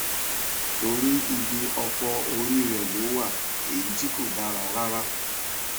torí ibi ọpọ orí rẹ ló wà èyí tih kò dára rárá